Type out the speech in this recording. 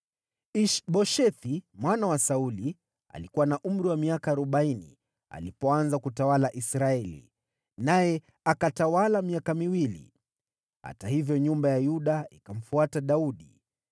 Ish-Boshethi mwana wa Sauli alikuwa na umri wa miaka arobaini alipoanza kutawala Israeli, naye akatawala miaka miwili. Hata hivyo, nyumba ya Yuda ikamfuata Daudi.